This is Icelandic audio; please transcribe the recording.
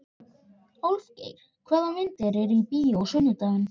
Álfgeir, hvaða myndir eru í bíó á sunnudaginn?